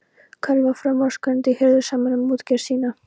Karl var framúrskarandi hirðusamur um útgerð sína.